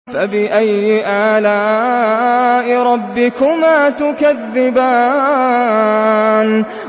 فَبِأَيِّ آلَاءِ رَبِّكُمَا تُكَذِّبَانِ